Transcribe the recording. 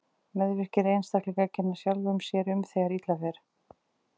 Meðvirkir einstaklingar kenna sjálfum sér um þegar illa fer.